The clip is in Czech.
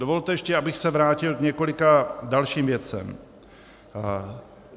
Dovolte ještě, abych se vrátil k několika dalším věcem.